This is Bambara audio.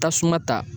Tasuma ta